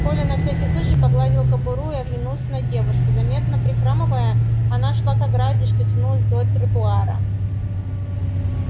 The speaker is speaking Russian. коля на всякий случай погладил кобуру и оглянулся на девушку заметно прихрамывая она шла к ограде что тянулась вдоль тротуара